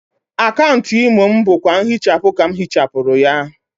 Akaunt Imo m bụkwa nhịchapụ ka m hịchapụrụ ya.